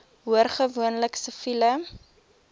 hoor gewoonlik siviele